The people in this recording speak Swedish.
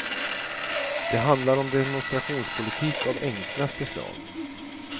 Det handlar om demonstrationspolitik av enklaste slag.